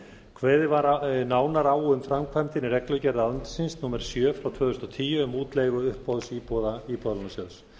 kveðið var nánar á um framkvæmdina í reglugerð ráðuneytisins númer sjö tvö þúsund og tíu um útleigu uppboðsíbúða íbúðalánasjóð